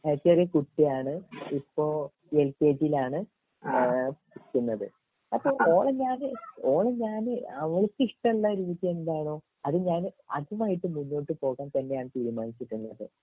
ചെറിയകുട്ടിയാണ് ഇപ്പൊ എൽകെജീൽ ആണ് ഏഹ് പഠിക്കുന്നത് അപ്പൊ ഓളെ ഞാന് ഓളെ ഞാന് അവൾക്ക് ഇഷ്ടള്ള രീതി എന്താണോ അത് ഞാൻ അതിനായിട്ട് മുന്നോട്ട് പോകാൻ തന്നെയാണ് തീരുമാനിച്ചിരിക്കുന്നത്